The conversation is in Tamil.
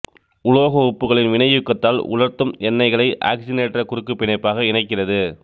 உலோக உப்புகளின் வினையூக்கத்தால் உலர்த்தும் எண்ணெய்களை ஆக்சிசனேற்ற குறுக்குப் பிணைப்பாக இணைக்கிறது